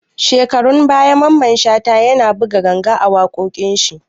Shekarun baya Maman Shata ya na buga ganga a waƙoƙin shi